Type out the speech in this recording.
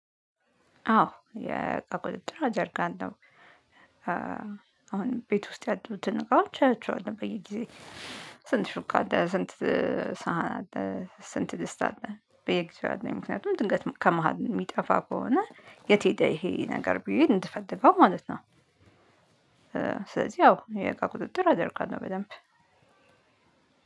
አዎ የቁጥጥር አደርጋለሁ። አሁን ቤት ውስጥ ያሉትን እቃዎች አያቸዋለሁ። በየጊዜ? ስንት ሹካ አለ ስንት ሳህን አለ? ስንት ድስት አለ? በየጊዜው አይደለም ምክንያቱም ድንገት ከመሃል የሚጠፋ ከሆነ የት ሄደ? ይሄ ነገር ብዬ እንድፈልገው ማለት ነው። ስለዚህ ያው የእቃ ቁጥጥር አደርጋለሁ። በደንብ